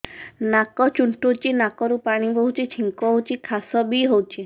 ନାକ ଚୁଣ୍ଟୁଚି ନାକରୁ ପାଣି ବହୁଛି ଛିଙ୍କ ହଉଚି ଖାସ ବି ହଉଚି